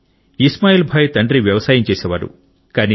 ఇస్మాయిల్ భాయ్ తండ్రి వ్యవసాయం చేసేవాడు